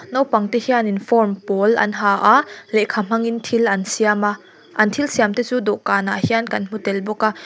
naupang te hianin form pawl an ha a lehkha hmangin thil an siam a an thil siam te chu dawhkan ah hian kan hmu tel bawk a.